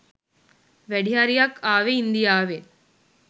වැඩි හරියක් ආවෙ ඉන්දියාවෙන්